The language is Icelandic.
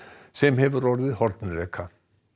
sem hefur orðið hornreka